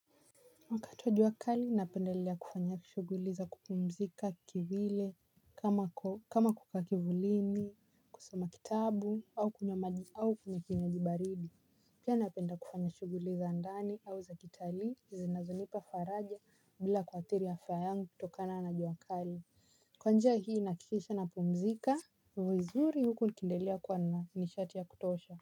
Wakati wa jua kali napendelea kufanya shughuli za kupumzika kivile kama kukaa kivulini kusoma kitabu au kunywa maji au kinywaji baridi. Pia napenda kufanya shughuli za ndani au za kitalii zinazonipa faraja bila kuathiri afya yangu kutokana na jua kali. Kwa njia hii nahakikisha na pumzika vuzuri huku nikendelea kua na nishati ya kutosha.